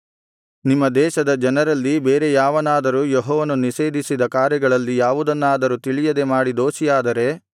ನಿಮ್ಮ ದೇಶದ ಜನರಲ್ಲಿ ಬೇರೆ ಯಾವನಾದರೂ ಯೆಹೋವನು ನಿಷೇಧಿಸಿದ ಕಾರ್ಯಗಳಲ್ಲಿ ಯಾವುದನ್ನಾದರೂ ತಿಳಿಯದೆ ಮಾಡಿ ದೋಷಿಯಾದರೆ